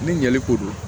Ni ɲɛli ko don